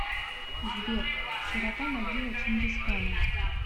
сбер широта могила чингисхана